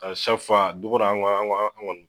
ka fa dogo do an kɔni